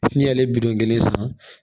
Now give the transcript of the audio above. N'i y'ale bidon kelen san